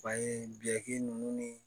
Fan ye biɲɛ ninnu ni